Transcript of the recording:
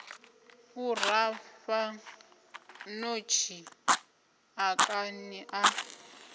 u rafha ṋotshi ḓakani ḽa